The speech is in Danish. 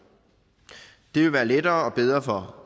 det vil være lettere og bedre